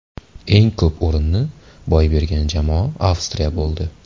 Eng ko‘p o‘rinni boy bergan jamoa Avstriya bo‘ldi.